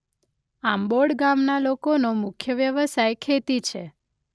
આંબોડ ગામના લોકોનો મુખ્ય વ્યવસાય ખેતી છે.